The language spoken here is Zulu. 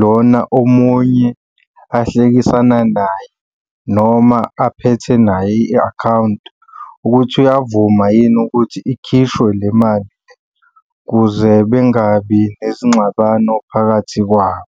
lona omunye ahlekisana naye, noma aphethe naye i-akhawunti ukuthi uyavuma yini ukuthi ikhishwe le mali ukuze bengabi nezingxabano phakathi kwabo.